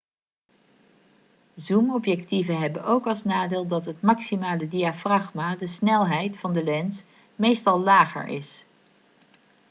zoomobjectieven hebben ook als nadeel dat het maximale diafragma de snelheid van de lens meestal lager is